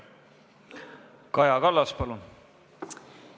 Kaja Kallas, palun!